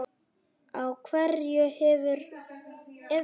Á hverju hefurðu efni?